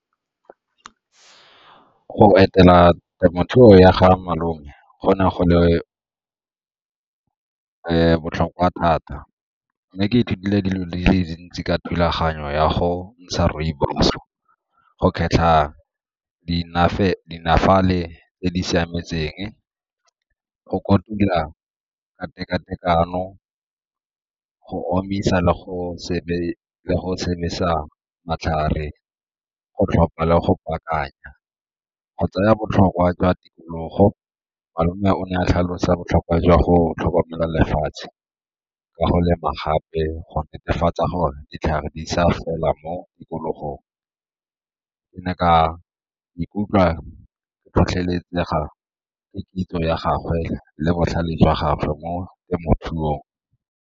Go etela temothuo ya ga malome, go ne go le botlhokwa thata, mme ke ithutile di di le dintsi ka thulaganyo ya go ntsha rooibos-o, go kgetlha tse di siametseng, go kotula ka teka-tekano, go omisa le go matlhare go tlhopha le go baakanya. Go tsaya botlhokwa jwa tikologo malome o ne a tlhalosa botlhokwa jwa go tlhokomela lefatshe ka go lema gape go netefatsa gore ditlhare di sa fela mo tikologong. Ke ne ka ikutlwa ke tlhotlheletsega ke kitso ya gagwe le botlhale jwa gagwe mo temothuong.